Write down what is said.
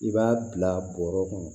I b'a bila bɔrɔ kɔnɔ